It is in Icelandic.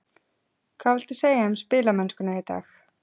Hvað viltu segja um spilamennskuna í dag?